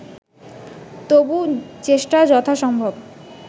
তবু চেষ্টা যথাসম্ভব